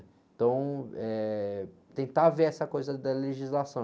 Então, eh, tentar ver essa coisa da legislação.